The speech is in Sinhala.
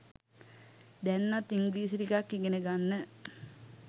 දැන්වත් ඉංග්‍රීසි ටිකක් ඉගෙන ගන්න.